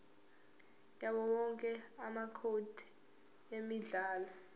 yawowonke amacode emidlalo